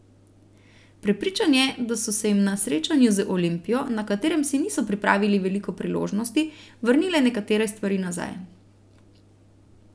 Prepričan je, da so se jim na srečanju z Olimpijo, na katerem si niso pripravili veliko priložnosti, vrnile nekatere stvari nazaj.